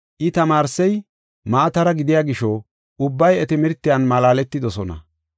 I tamaarsey maatara gidiya gisho ubbay iya timirtiyan malaaletidosona.